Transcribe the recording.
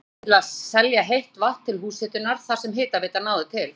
einkarétt til að selja heitt vatn til húshitunar þar sem hitaveitan náði til.